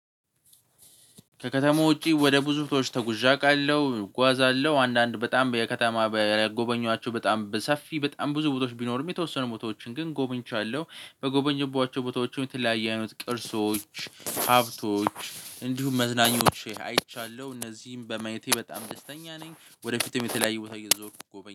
ከከተማ ውጪ ወደ ብዙዎች ተጉዣቃለሁ እጓዛለሁ አንዳንድ በጣም የከተማ የጎበኟቸው በጣም በሰፊ በጣም ብዙ ቦታዎች ቢኖሩም የተወሰኑ ቦታዎችን ግን ጎብኝቻለሁ በጎበኟቸው ቦታዎች የተለያየ አይነት ቅርሶች ሀብቶች እንዲሁም መዝናኞዎች አይቻለሁ እነዚህም በማየቴ በጣም ደስተኛ ነኝ። ወደፊትም የተለያየ ቦታ እየዞርኩ ጎበኝ